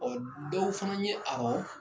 dɔw fana ye awɔ